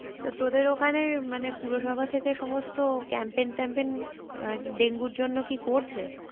তো তোদের ওখানে মানে পৌরসভা থেকে সমস্ত campaign ট্যাম্পেন আহ ডেঙ্গুর জন্য কি করছে?